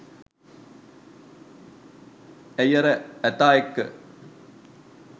ඇයි අර ඇතා එක්ක